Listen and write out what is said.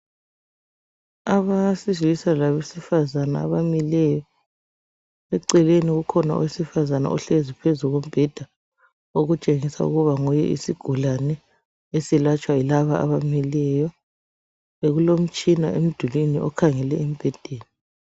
Abesilisa labesifazana abamileyo. Eceleni kukhona owesifazana ohlezi phezu kombheda okutshengisa ukuba nguye isigulane esilatshwa yilaba abamileyo. Kulomtshina emdulini okhangele embhedeni.